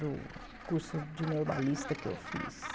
Do curso de normalista que eu fiz.